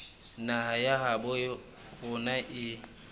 naha ya habo rona e